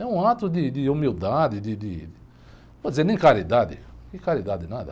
É um ato de, de humildade, de, de... Não vou dizer nem caridade, que caridade, nada.